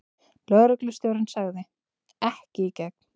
Lögreglustjórinn sagði: Ekki í gegn.